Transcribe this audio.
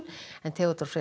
Theodór Freyr